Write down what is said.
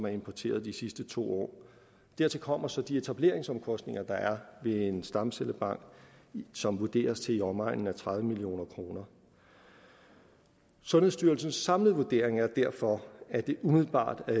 importeret de sidste to år dertil kommer så de etableringsomkostninger der er ved en stamcellebank som vurderes til i omegnen af tredive million kroner sundhedsstyrelsens samlede vurdering er derfor at det umiddelbart er